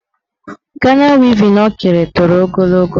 Gana wevin o kere toro ogologo.